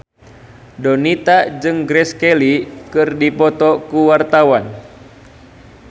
Donita jeung Grace Kelly keur dipoto ku wartawan